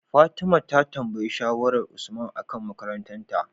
fatima ta tambayi shawarar usman akan makarantar ta